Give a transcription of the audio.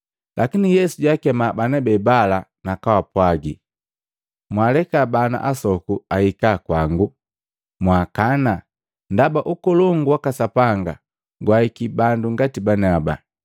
lakini Yesu jaakema bana bebala nakaapwagi, “Mwaaleka bana asoku ahika kwangu, mwaakana, ndaba Ukolongu waka Sapanga gwaahiki bandu ngati baniaba.